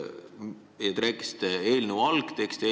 Samas te rääkisite kogu aeg eelnõu algtekstist.